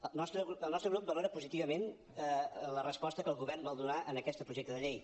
el nostre grup valora positivament la resposta que el govern vol donar a aquest projecte de llei